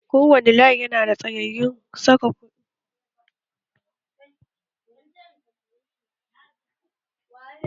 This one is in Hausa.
Kowani banki yanada tellan saka kuɗi